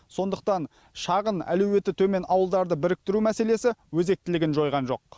сондықтан шағын әлеуеті төмен ауылдарды біріктіру мәселесі өзектілігін жойған жоқ